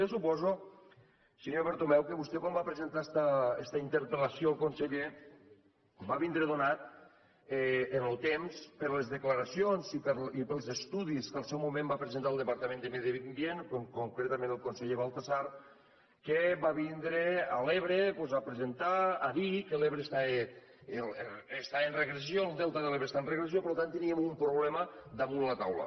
jo suposo senyor bertomeu que vostè quan va presentar esta interpel·lació al conseller va vindre donat en el temps per les declaracions i pels estudis que al seu moment va presentar el departament de medi ambient concretament el conseller baltasar que va vindre a l’ebre doncs a presentar a dir que l’ebre estava en regressió el delta de l’ebre estava en regressió per tant teníem un problema damunt la taula